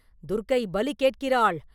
துர்க்கை பலி கேட்கிறாள்.